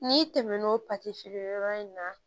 N'i tɛmɛn'o feere yɔrɔ in na